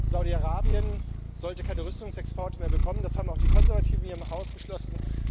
Saudi Arabien sollte keine Rüstungsexporte mehr bekommen, das haben auch die Konservativen hier im Haus beschlossen.